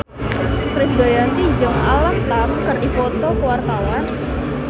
Krisdayanti jeung Alam Tam keur dipoto ku wartawan